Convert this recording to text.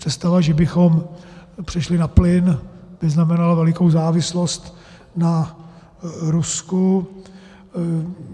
Představa, že bychom přešli na plyn, by znamenala velikou závislost na Rusku.